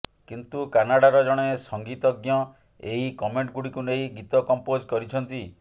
କିନ୍ତୁ କାନାଡ଼ାର ଜଣେ ସଂଗୀତଜ୍ଞ ଏହି କମେଣ୍ଟଗୁଡ଼ିକୁ ନେଇ ଗୀତ କମ୍ପୋଜ କରିଛନ୍ତି